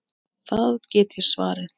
Það get ég svarið.